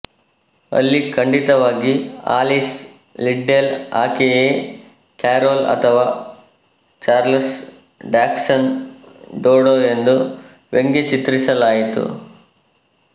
ಅಲ್ಲಿ ಖಂಡಿತವಾಗಿ Alice Liddell ಆಕೆಯೇ ಕ್ಯಾರೊಲ್ ಅಥವಾ ಚಾರ್ಲಸ್ ಡಾಗ್ಸನ್ ಡೋಡೊ ಎಂದು ವ್ಯಂಗ್ಯಚಿತ್ರಿಸಲಾಯಿತು